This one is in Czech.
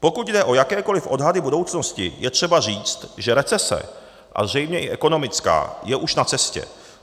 Pokud jde o jakékoliv odhady budoucnosti, je třeba říct, že recese, a zřejmě i ekonomická, je už na cestě.